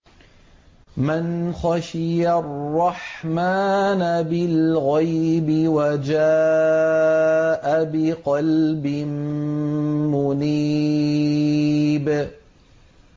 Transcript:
مَّنْ خَشِيَ الرَّحْمَٰنَ بِالْغَيْبِ وَجَاءَ بِقَلْبٍ مُّنِيبٍ